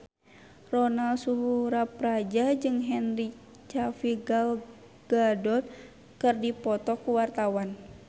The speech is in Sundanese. Ronal Surapradja jeung Henry Cavill Gal Gadot keur dipoto ku wartawan